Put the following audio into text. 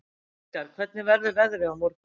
Edgar, hvernig verður veðrið á morgun?